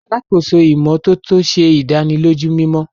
Alàkóso ìmọ́tótó ṣe ìdánilójú mimọ.